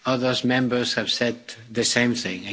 Others Members have said the same thing